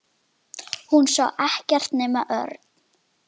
Hún sá ekkert nema Örn.